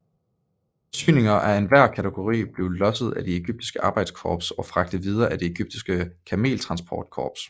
Forsyninger af enhver kategori blev losset af det egyptiske arbejdskorps og fragtet videre af det egyptiske kameltransport korps